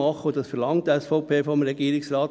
Dies verlangt die SVP vom Regierungsrat: